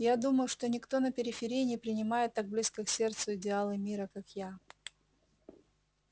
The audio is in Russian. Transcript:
я думаю что никто на периферии не принимает так близко к сердцу идеалы мира как я